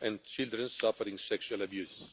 and children suffering sexual abuse.